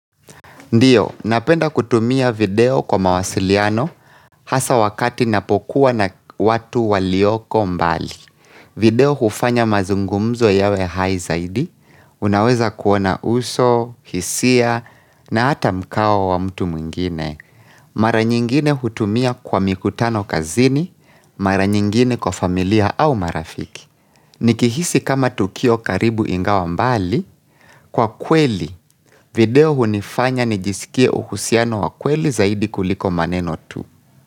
Ndiyo, napenda kutumia video kwa mawasiliano hasa wakati napokuwa na watu walioko mbali. Video hufanya mazungumzo yawe high zaidi, unaweza kuona uso, hisia na hata mkao wa mtu mwingine. Mara nyingine hutumia kwa mikutano kazini, mara nyingine kwa familia au marafiki. Nikihisi kama tukio karibu ingawa mbali. Kwa kweli, video hunifanya ni jisikie uhusiano wa kweli zaidi kuliko maneno tu.